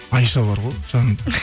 айша бар ғой жаңында